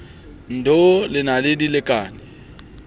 ndoh le na le dilekane